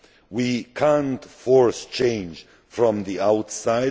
We cannot force change from the outside.